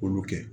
K'olu kɛ